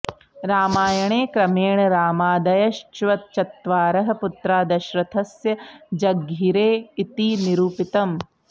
रामायणे क्रमेण रामादयश्चत्वारः पुत्राः दशरथस्य जज्ञिरे इति निरुपितम्